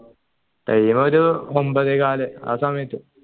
time ഒരു ഒമ്പതേ കാൽ ആ സമയത്ത്